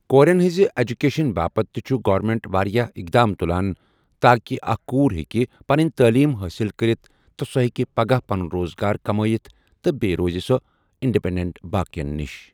کوٗرین ہنٛز ایجوکیشن باپتھ تہِ چھُ گورمینٹ واریاہ اقدام تُلان تاکہ اکھ کوٗر ہیکہِ پنُن تعلیم حٲصل کرتھ تہٕ سۄ ہیکہِ پگاہ پنُن روزگار کمایِتھ تہِ بیٚیہِ روزِ سۄ اِنڈپینڈنٹ باقی ین نش۔